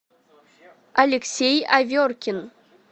алексей аверкин